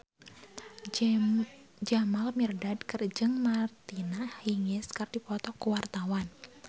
Jamal Mirdad jeung Martina Hingis keur dipoto ku wartawan